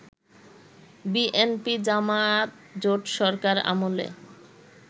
বিএনপি-জামায়াত জোটসরকার আমলে